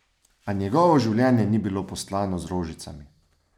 A njegovo življenje ni bilo postlano z rožicami.